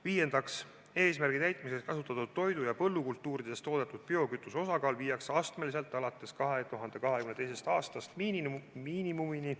Viiendaks, eesmärgi täitmiseks kasutatud toidu- ja põllukultuuridest toodetud biokütuse osakaal viiakse alates 2022. aastast astmeliselt miinimumini.